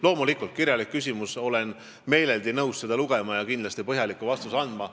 Loomulikult, olen meeleldi nõus kirjalikku küsimust lugema ja kindlasti ka põhjaliku vastuse andma.